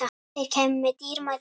Þeir kæmu með dýrmæta reynslu